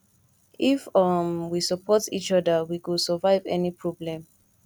if um we support each oda we go survive any problem